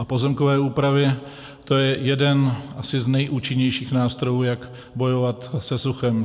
A pozemkové úpravy, to je asi jeden z nejúčinnějších nástrojů, jak bojovat se suchem.